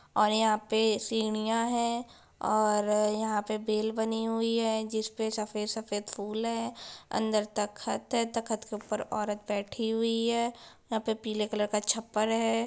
और यहाँ पे सीढ़ियाँ हैं और यहाँ पे बैल बनी हुए है जिस पे सफ़ेद-सफ़ेद फूल है अंदर तक तख़्त है तो तख़्त के ऊपर औरत बैठी हुई है यहाँ पे पीले कलर का छप्पर है।